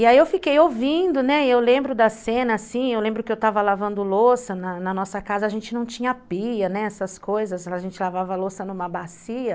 E aí eu fiquei ouvindo, né, e eu lembro da cena, assim, eu lembro que eu estava lavando louça na nossa casa, a gente não tinha pia, né, essas coisas, a gente lavava louça numa bacia,